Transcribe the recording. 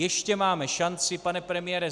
Ještě máme šanci, pane premiére.